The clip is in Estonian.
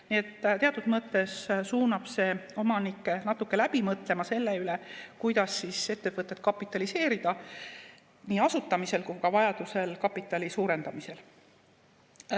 Nii et teatud mõttes suunab see omanikke natuke läbi mõtlema, kuidas ettevõtet kapitaliseerida nii asutamisel kui ka vajadusel kapitali suurendamisel.